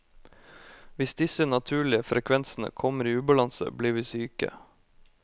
Hvis disse naturlige frekvensene kommer i ubalanse, blir vi syke.